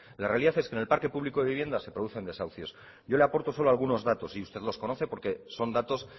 la realidad es que en el parque público de viviendas se producen desahucios yo le aporto solo algunos datos y usted los conoce porque son datos